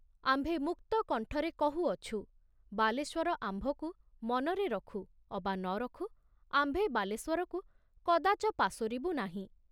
ଆମ୍ଭେ ମୁକ୍ତ କଣ୍ଠରେ କହୁଅଛୁ, ବାଲେଶ୍ଵର ଆମ୍ଭକୁ ମନରେ ରଖୁ ଅବା ନ ରଖୁ ଆମ୍ଭେ ବାଲେଶ୍ବରକୁ କଦାଚ ପାଶୋରିବୁ ନାହିଁ।